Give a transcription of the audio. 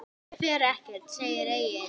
Ruslið fer ekkert, segir Egill.